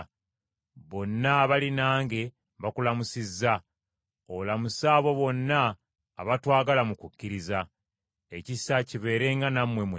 Bonna abali nange bakulamusizza. Olamuse abo bonna abatwagala mu kukkiriza. Ekisa kibeerenga nammwe mwenna.